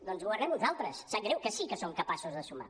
doncs governem nosaltres sap greu que sí que som capaços de sumar